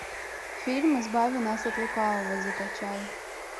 фильм избави нас от лукавого закачай